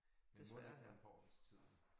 Det må da være en form for til tiden